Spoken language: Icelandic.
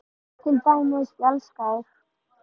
Til dæmis: Ég elska þig.